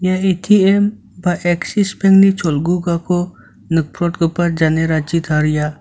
ia A_T_M ba eksis bank-ni cholgugako nikprotgipa janerachi taria.